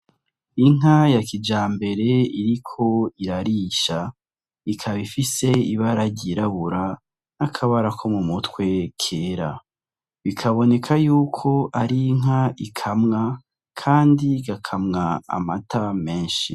Inka ya kijambere iriko irarisha ikaba ifise ibara ry'irabura n'akabara ko mu mutwe kera bikaboneka yuko ari inka ikamwa kandi igakamwa amata meshi.